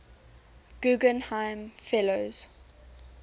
guggenheim fellows